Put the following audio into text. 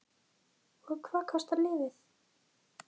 Lóa: Og hvað kostar lyfið?